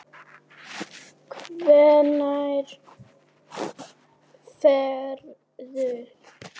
Hvenær ferðu?